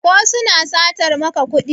ko suna satar maka kudi?